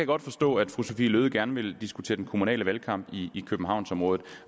godt forstå at fru sophie løhde gerne vil diskutere den kommunale valgkamp i københavnsområdet